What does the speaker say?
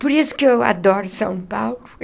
Por isso que eu adoro São Paulo.